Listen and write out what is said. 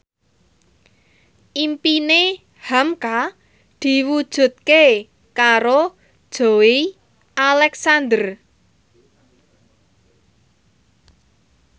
impine hamka diwujudke karo Joey Alexander